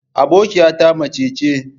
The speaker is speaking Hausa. Abokiyata mace ce.